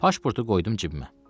Pasportu qoydum cibimə.